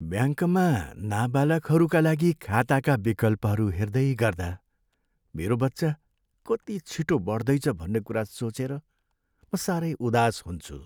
ब्याङ्कमा नाबालखहरूका लागि खाताका विकल्पहरू हेर्दैगर्दा मेरो बच्चा कति छिटो बढ्दैछ भन्ने कुरा सोचेर म सारै उदास हुन्छु।